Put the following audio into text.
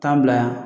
Taa bila yan